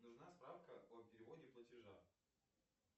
нужна справка о переводе платежа